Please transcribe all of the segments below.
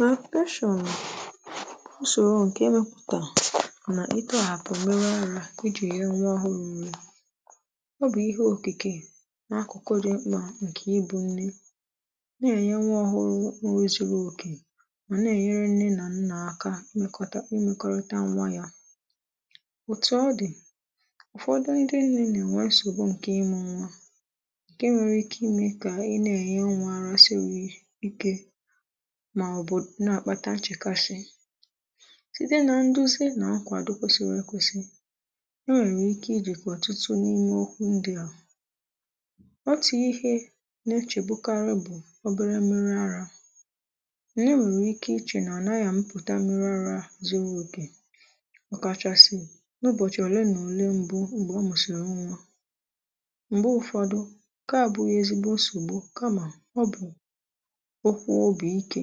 Laktashịọn bụ usoro nke emepụtara na ịtọhapụ mmiri arȧ iji nye nwa ọhụụ nri ọ bụ ihe okike n’akụkụ dị mkpa nke ịbụ Nne na-enye nwa ọhụrụ nri zuru oke ma na-enyere nne na nna aka ịmekọta ịmekọrịta nwa ya otu ọ dị ụfọdụ ndị nne na-enwe nsogbu nke ịmụ nwa nke nwere ike ime ka ị na-enye nwa arȧ siwi ike mà ọ bụ̀ na-àkpata ǹchekasị site nà nduzi nà-nkwàdo kwesịrị ekwesị enwèrè ike ijìkwa ọ̀tụtụ n’ime ọkụ ndi ahụ̀ otu ihe na-echègbukarị bụ̀ obere mmiri arȧ nà enwèrè ike ichè nà ànaghị̀ amịpụ̀ta mmiri arȧ zuru okè ọkàchasị n’ụbọ̀chị̀ ọ̀le nà ọ̀le mbụ m̀gbè ọ mụ̀sị̀rị̀ nwà m̀gbe ụ̀fọdụ ǹke à bụghị ezigbo nsògbu kamà ọ bụ̀ okwu obi ike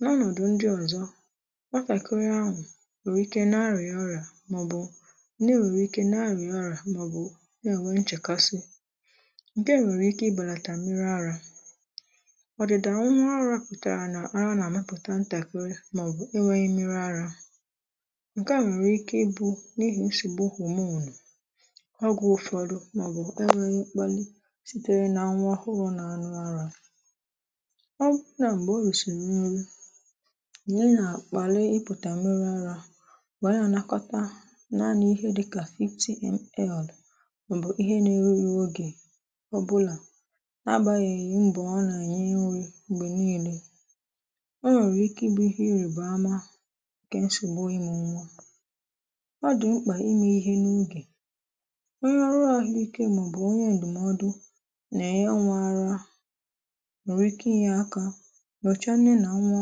n’ọnọdụ̀ ndị̇ ọzọ̇ nwàtakịrị ahụ̀ nwèrè ike na-arịà ọrịà màọbụ̇ nne nwère ike na-arịà ọrịà màọbụ̇ na enwè nchèkasị ǹke nwèrè ike ịbàlàtà mmiri arȧ ọ̀dị̀dà mmiri ara pụtara nà àrá nà-àmịpụ̀ta ntakịrị màọbụ̀ e nweghị mmiri arȧ ǹke à nwèrè ike ịbụ̇ n’ihi nsogbu homonu mgbe ụ̀fọdụ màọbụ̀ e nweghị mkpàlị̇ sitere nà nwa ọhụrụ̇ nà aṅụ arȧ nà-ènà àkpàlị ịpụtà m̀miri arȧ bụ̀ anyị ànakọta naanị̇ ihe dịkà fifty millilitres mànà òbòlà agbanyeghị mbọ̀ a nà-enye nrì m̀gbè niilė o nwèrè ike ịbụ̇ ihe nrì bama ǹkè nsògbu ịmụ nwa ọ dụ̀ mkpà ime ihe n’ogè onye ọrụ ȧhụ̇ ike mà ọ̀ bụ̀ onye ǹdụ̀mọdụ nà-ènye nwȧ arȧ nwere ike ịnye aka n’ọchà nne nà nwa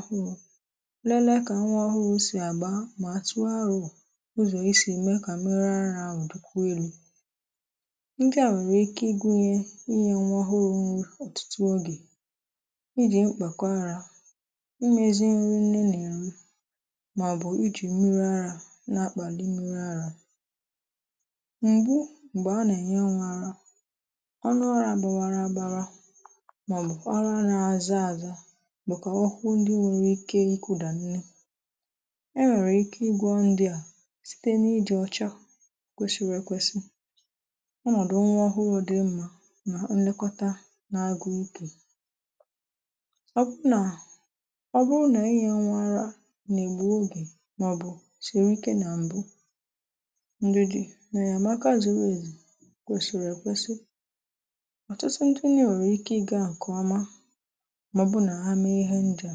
ọhụrụ̇ lelee kà nwa ọhụrụ sì àgba mà tụọ arọ̇ ụzọ̀ esi eme kà mmiri arȧ ahụ̀ dịkwuo elu̇ ndị à nwèrè ike ịgụ̇nyė ịnye nwa ọhụrụ̇ nri ọ̀tụtụ ogè ijì mkpàkọ arȧ ịmėzi nri nne nà eri màọbụ̀ ijì mmiri arȧ na-akpàli mmiri arȧ m̀bụ m̀gbè a nà-ènye nwa arȧ ọnụ arȧ bȧwara agbawa màọbụ̀ ọrụ arȧ àza ȧzȧ? ọhụ ndị nwere ike ị kụdà nri e nwèrè ike ịgwọ ndị à site n’ịdị̇ ọcha kwèsịrị ekwesị ọnọdụ nwa ọhụrụ dị mmȧ nà nlekọta n’agụ ikė ọ bụ nà ọ bụrụ nà inye nwa ara nà-ègbù ogè màọbụ̀ shiri ike nà m̀bụ ndịdị̇ na enyemaka zuru èzu kwèsịrị ekwesị ọ̀tụtụ? nwere ike ịge nke ọma ma ọ bụrụ na ha mee ihe ndịa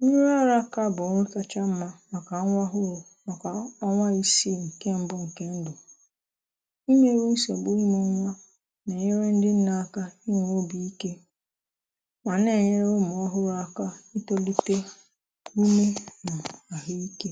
mmiri ara ara bụ̀ ọrụ kacha mma màkà nwa ọhụrụ màkà ọnwa isii ǹkè mbụ ǹkè ndụ̀ mmerụ nsògbu ịmụ̇ nwa nà-ènyere ndị nne aka inwè obì ike mà nà-ènyere ụmụ̀ ọhụrụ aka ịtòlite ume mà àhụ ikė